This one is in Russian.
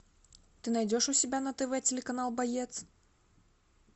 ты найдешь у себя на тв телеканал боец